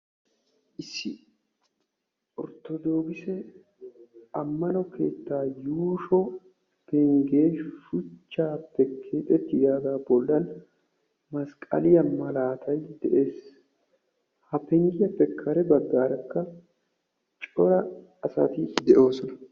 Issi orttodookkisse ammano keettaa yuushonne shuchaappe gigettiyaaga bollan masqqalliya malaatay de'ees. ha penggiyaappe kare bagaarakka cora asati de'oosona.